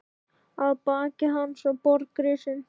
Að baki hans var borg risin.